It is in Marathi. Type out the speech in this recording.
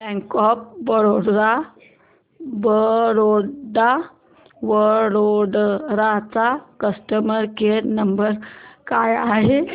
बँक ऑफ बरोडा वडोदरा चा कस्टमर केअर नंबर काय आहे